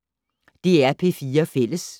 DR P4 Fælles